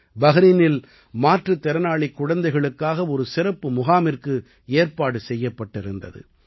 பஹரீனில் மாற்றுத்திறனாளிக் குழந்தைகளுக்காக ஒரு சிறப்பு முகாமிற்கு ஏற்பாடு செய்யப்பட்டிருந்தது